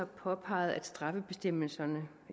påpeget at straffebestemmelserne